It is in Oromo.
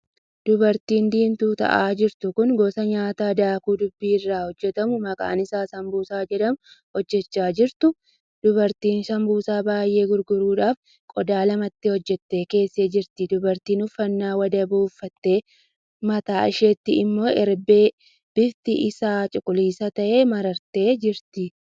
Dubartiin diimtuu taa'aa jirtu kun gosa nyaataa daakuu dubbii irraa hojjetamu maqaan isaa sanbusaa jedhamuu hojjechaa jirtu. dubartiin sanbusaa baay'ee gurguruudhaaf qodaa lamatti hojjettee keessee jirti. dubartiin uffannaa wadaboo uffattee mataa isheetti immoo herbee bifti isaa cuquliisa tahee marattee jirtu.